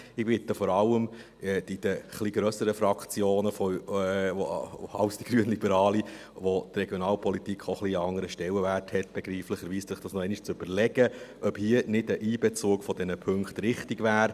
Ich bitte vor allem die etwas grösseren Fraktionen als die grünliberale es ist, für welche die Regionalpolitik begreiflicherweise einen etwas anderen Stellenwert hat, sich noch einmal zu überlegen, ob hier nicht ein Einbezug dieser Punkte richtig wäre.